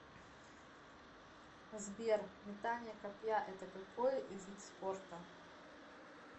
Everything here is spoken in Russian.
сбер метание копья это какой вид спорта